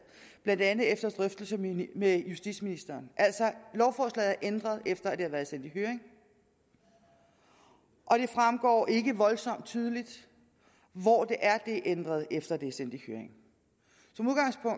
blandt andet efter drøftelse med justitsministeren lovforslaget er altså ændret efter at det har været sendt i høring og det fremgår ikke voldsomt tydeligt hvor det er det er ændret efter at det sendt i høring